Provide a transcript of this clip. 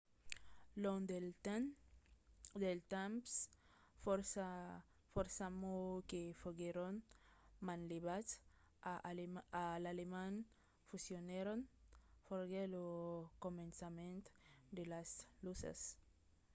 long del temps fòrça mots que foguèron manlevats a l’alemand fusionèron. foguèt lo començament de las luses